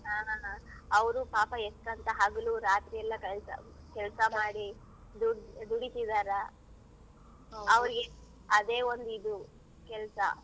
ಆ ಹ ಹ. ಅವ್ರು ಪಾಪ ಎಷ್ಟಂತಾ ಹಗಲು ರಾತ್ರಿಯೆಲ್ಲಾ ಕೆಳ್ಸ~ ಕೆಲ್ಸ ಮಾಡಿ ದುಡ್~ ದುಡಿತಿದಾರ. ಅದೇ ಒಂದ್ ಇದು ಕೆಲ್ಸ.